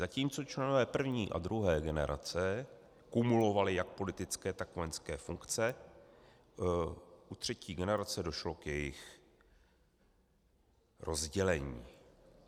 Zatímco členové první a druhé generace kumulovali jak politické tak vojenské funkce, u třetí generace došlo k jejich rozdělení.